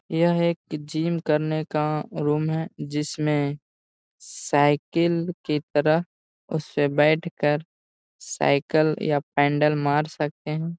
यह एक जिम करने का रूम है। जिसमे साईकल की तरह उसपे बैठ कर साईकिल या पेडल मार सकते है।